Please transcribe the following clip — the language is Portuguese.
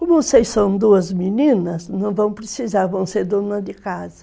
Como vocês são duas meninas, não vão precisar, vão ser dona de casa.